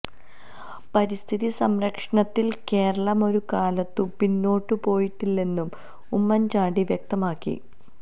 പരിസ്ഥിതി സംരക്ഷണത്തിൽ കേരളം ഒരു കാലത്തും പിന്നോട്ട് പോയിട്ടില്ലെന്നും ഉമ്മൻചാണ്ടി വ്യക്തമാക്കി